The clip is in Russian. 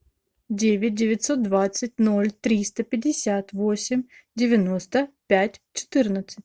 девять девятьсот двадцать ноль триста пятьдесят восемь девяносто пять четырнадцать